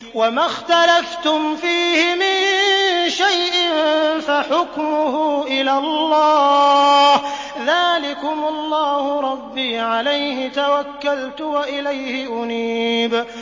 وَمَا اخْتَلَفْتُمْ فِيهِ مِن شَيْءٍ فَحُكْمُهُ إِلَى اللَّهِ ۚ ذَٰلِكُمُ اللَّهُ رَبِّي عَلَيْهِ تَوَكَّلْتُ وَإِلَيْهِ أُنِيبُ